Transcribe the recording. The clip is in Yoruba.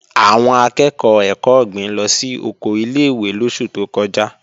Àwọn akẹ́ẹ̀kọ́ ẹ̀kọ́ ọ̀gbìn lọ sí oko ilé-ìwé lóṣù tó kọjá